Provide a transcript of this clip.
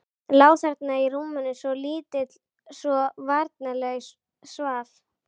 Lá þarna í rúminu, svo lítill, svo varnarlaus, svaf.